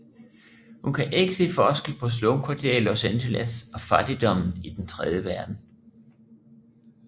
Hun kan ikke se forskel på slumkvarterer i Los Angeles og fattigdommen i den tredje verden